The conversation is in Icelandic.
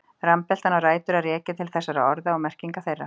Rambeltan á rætur að rekja til þessara orða og merkinga þeirra.